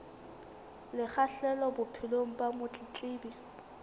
le kgahleho bophelong ba motletlebi